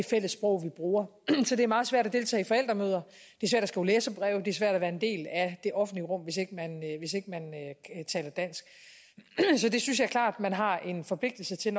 fælles sprog vi bruger så det er meget svært at deltage i forældremøder skrive læserbreve det er svært at være en del af det offentlige rum hvis ikke man taler dansk så det synes jeg klart man har en forpligtelse til